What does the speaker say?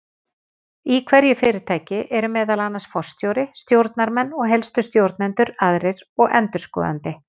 Í hverju fyrirtæki eru það meðal annars forstjóri, stjórnarmenn og helstu stjórnendur aðrir og endurskoðandi.